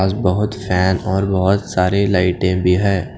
आज बहोत फैन और बहोत सारी लाइट भी हैं।